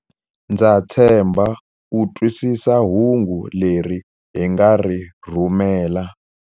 Ndza tshemba u twisisa hungu leri hi nga ri rhumela.